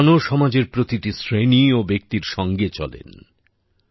ভগবানও সমাজের প্রতিটি শ্রেণি ও ব্যক্তির সঙ্গে চলেন